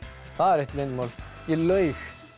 það er ekki leyndarmál ég laug